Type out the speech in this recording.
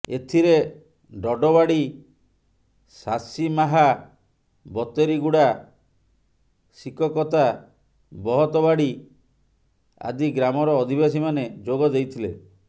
ଏଥିରେ ଡଡ଼ବାଡ଼ି ଶାସିମାହା ବତେରିଗୁଡ଼ା ଶିକକତା ବହତବାଡ଼ି ଆଦି ଗ୍ରାମର ଅଧିବାସୀମାନେ ଯୋଗ ଦେଇଥିଲେ